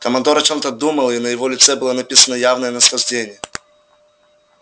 командор о чём-то думал и на лице его было написано явное наслаждение